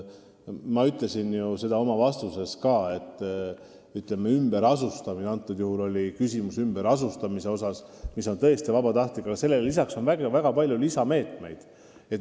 Ma ütlesin ju ka oma vastuses, et ümberasustamisele lisaks – praegu oli küsimus just ümberasustamises, mis on tõesti vabatahtlik – on väga palju muidki meetmeid.